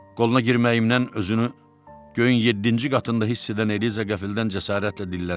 Qoluna girməyimlə özünü göyün yeddinci qatında hiss edən Eliza qəfildən cəsarətlə dilləndi.